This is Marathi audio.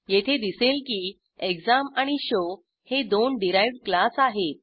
येथे दिसेल की एक्झाम आणि शो हे दोन डिराइव्ह्ड क्लास आहेत